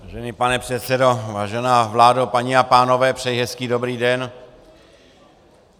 Vážený pane předsedo, vážená vládo, paní a pánové, přeji hezký dobrý den.